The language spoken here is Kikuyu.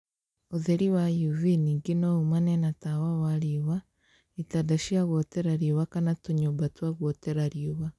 Ũtheri wa UV ningĩ no umane na tawa wa riũa, itanda cia gũotera riũa kana tũnyumba twa guotera riua